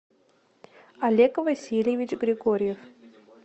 олег васильевич григорьев